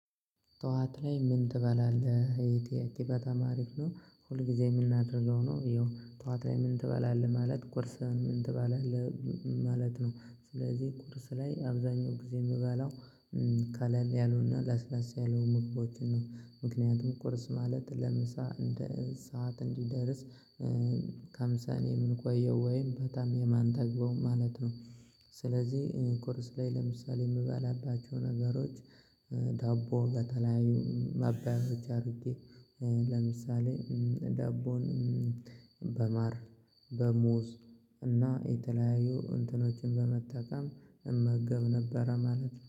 ጠዋት ላይ ምን? ትበላለህ እሄ ጥያቄ በጣም ሀሪፍ ነው። ሁልጊዜ የምናደርገው ነው ይኸው ጠዋት ላይ ምን ትበላለህ ማለት ቁርስ ምን ትበላለህ? ማለት ነው። ስለዚህ ቁርስ ላይ አብዛኛው ጊዜ የምበላው ቀለል ያሉና ለስለስ ያሉ ምግቦችን ነው። ምክንያቱም ቁርስ ማለት ለምሳ እንደ ሰዓት እንዲደርስ እስከምሳ የምንቆየው ወይም በጣም የማንጠግበው ማለት ነው። ስለዚህ ቁርስ ላይ ለምሳሌ የምበላባቸው ነገሮች ዳቦ በተለያዩ ማባያዎች አድርጌ ለምሳሌ ደቦን በማር በሙዝ እና የተለያዩ እንትኖችን በመጠቀም እመገብ ነበረ ማለት።